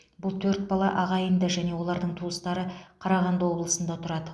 бұл төрт бала ағайынды және олардың туыстары қарағанды облысында тұрады